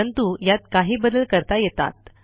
परंतु यात काही बदल करता येतात